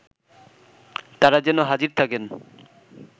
তারা যেন হাজির থাকেন